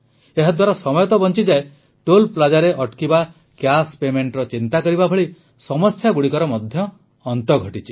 ଏହାଦ୍ୱାରା ସମୟ ତ ବଂଚିଯାଏ ଟୋଲ୍ Plazaରେ ଅଟକିବା କ୍ୟାଶ paymentର ଚିନ୍ତା କରିବା ଭଳି ସମସ୍ୟାଗୁଡ଼ିକର ମଧ୍ୟ ଅନ୍ତ ଘଟିଛି